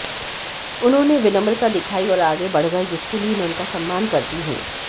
उन्होंने विनम्रता दिखायी और आगे बढ़ गये जिसके लिए मैं उनका सम्मान करती हूं